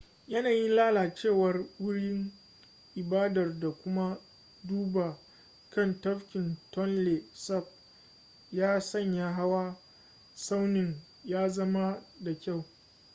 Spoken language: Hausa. yanayin lalacewar wurin ibadar da kuma duba kan tafkin tonle sap ya sanya hawa tsaunin ya zama da kyau